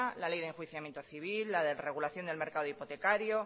la ley de enjuiciamiento civil la de regulación del mercado hipotecario